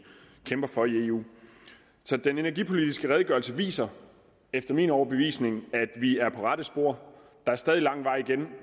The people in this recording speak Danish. for i eu den energipolitiske redegørelse viser efter min overbevisning at vi er på rette spor der er stadig lang vej igen